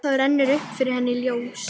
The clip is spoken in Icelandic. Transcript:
Þá rennur upp fyrir henni ljós.